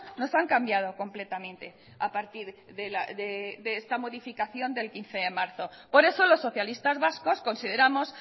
nos han cambiado completamente a partir de esta modificación del quince de marzo por eso los socialistas vascos consideramos